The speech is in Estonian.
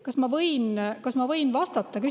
Kas ma võin küsimusele vastata?